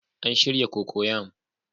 An shirya cocoyam